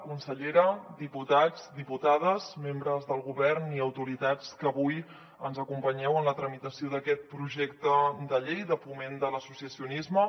consellera diputats diputades membres del govern i autoritats que avui ens acompanyeu en la tramitació d’aquest projecte de llei de foment de l’associacionisme